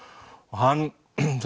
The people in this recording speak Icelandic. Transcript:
hann